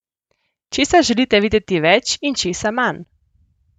Česa želite videti več in česa manj?